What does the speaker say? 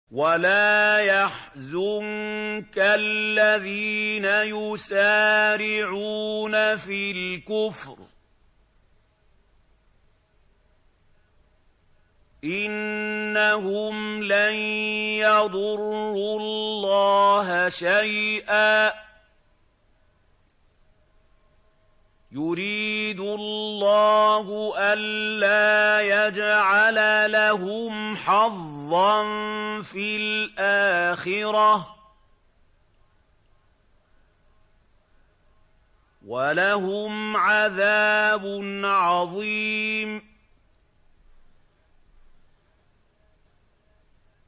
وَلَا يَحْزُنكَ الَّذِينَ يُسَارِعُونَ فِي الْكُفْرِ ۚ إِنَّهُمْ لَن يَضُرُّوا اللَّهَ شَيْئًا ۗ يُرِيدُ اللَّهُ أَلَّا يَجْعَلَ لَهُمْ حَظًّا فِي الْآخِرَةِ ۖ وَلَهُمْ عَذَابٌ عَظِيمٌ